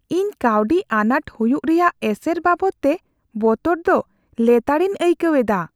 ᱤᱧ ᱠᱟᱹᱣᱰᱤ ᱟᱱᱟᱴ ᱦᱩᱭᱩᱜ ᱨᱮᱭᱟᱜ ᱮᱥᱮᱨ ᱵᱟᱵᱚᱫᱛᱮ ᱵᱚᱛᱚᱨ ᱫᱚ ᱞᱮᱛᱟᱲᱤᱧ ᱟᱹᱭᱠᱟᱹᱣ ᱮᱫᱟ ᱾